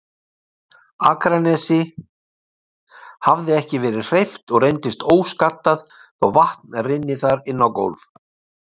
Akranesi, hafði ekki verið hreyft og reyndist óskaddað þó vatn rynni þar inná gólf.